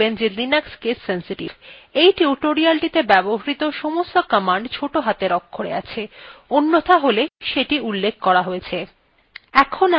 মনে রাখবেন যে linux case sensitive এই টিউটোরিয়ালটিতে ব্যবহৃত সমস্ত commands note হাতের অক্ষরে আছে অন্যথা all সেটি উল্লেখ করা হয়েছে